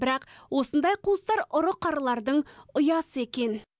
бірақ осындай қуыстар ұры қарылардың ұясы екен